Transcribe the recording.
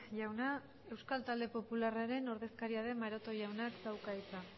jauna euskal talde popularraren ordezkaria den maroto jaunak dauka hitza